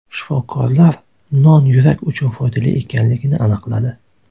Shifokorlar non yurak uchun foydali ekanligini aniqladi.